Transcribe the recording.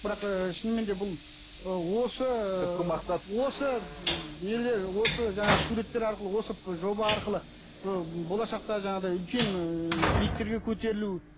бірақ ыыы шынымен де бұл ыыы осы түпкі мақсат осы нелер осы жаңағы суреттер арқылы осы жоба арқылы ы болашақта жаңағыдай үлкен ііі биіктерге көтерілу